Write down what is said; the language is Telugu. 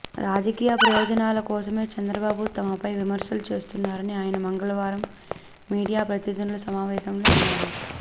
రాజకీయ ప్రయోజనాల కోసమే చంద్రబాబు తమపై విమర్శలు చేస్తున్నారని ఆయన మంగళవారం మీడియా ప్రతినిధుల సమావేశంలో అన్నారు